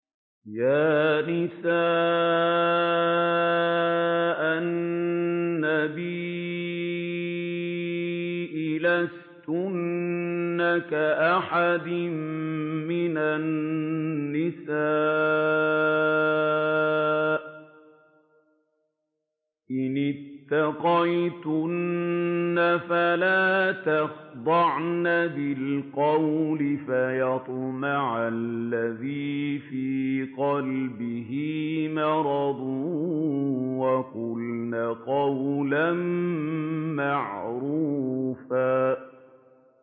يَا نِسَاءَ النَّبِيِّ لَسْتُنَّ كَأَحَدٍ مِّنَ النِّسَاءِ ۚ إِنِ اتَّقَيْتُنَّ فَلَا تَخْضَعْنَ بِالْقَوْلِ فَيَطْمَعَ الَّذِي فِي قَلْبِهِ مَرَضٌ وَقُلْنَ قَوْلًا مَّعْرُوفًا